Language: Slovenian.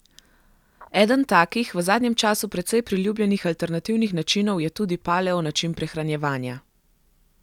Eden takih, v zadnjem času precej priljubljenih alternativnih načinov je tudi paleo način prehranjevanja.